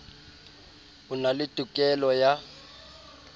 o na le tokelo ya